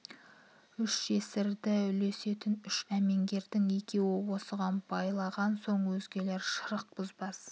үш жесірді үлесетін үш әмеңгердің екеуі осыған байлаған соң өзгелер шырық бұзбас